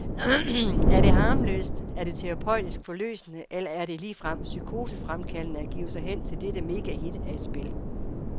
Er det harmløst, er det terapeutisk forløsende eller er det ligefrem psykosefremkaldende at give sig hen til dette megahit af et spil?